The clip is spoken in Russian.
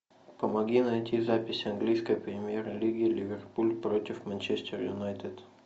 помоги найти запись английской премьер лиги ливерпуль против манчестер юнайтед